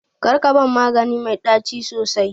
Karka ban magani mai ɗaci sosai.